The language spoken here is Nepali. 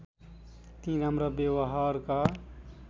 ती राम्रा व्यवहारका